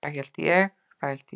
Það hélt ég.